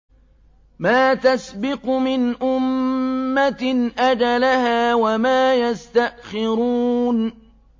مَّا تَسْبِقُ مِنْ أُمَّةٍ أَجَلَهَا وَمَا يَسْتَأْخِرُونَ